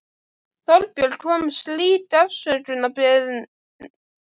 Þorbjörn: Kom slík afsökunarbeiðni fram á fundinum, eða?